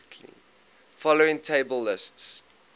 following table lists